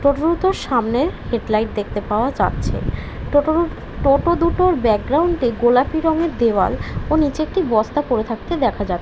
টোটো দুটোর সামনে head light দেখতে পাওয়া যাচ্ছে। টোটো দু টোটো দুটোর ব্যাকগ্রাউন্ডে গোলাপি রঙের দেওয়াল ও নিচে একটি বস্তা পড়ে থাকতে দেখা যা--